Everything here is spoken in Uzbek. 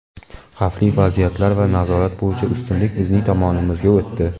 Xavfli vaziyatlar va nazorat bo‘yicha ustunlik bizning tomonimizga o‘tdi.